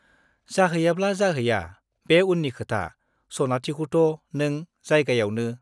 जाहैयाब्ला जाहैया, बे उननि खोथा - सनाथिखौथ' नों जायगायावनो